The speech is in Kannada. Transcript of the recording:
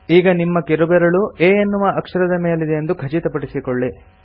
ಈಗ ನಿಮ್ಮ ಕಿರುಬೆರಳು A ಎನ್ನುವ ಅಕ್ಷರದ ಮೇಲಿದೆಯೆಂದು ಖಚಿತಪಡಿಸಿಕೊಳ್ಳಿ